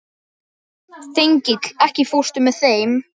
Þengill, ekki fórstu með þeim?